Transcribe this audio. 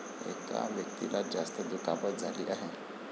एका व्यक्तीला जास्त दुखापत झाली आहे.